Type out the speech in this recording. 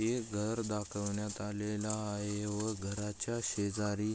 एक घर दाखवण्यात आलेलं आहे या व घरच्या शेजारी--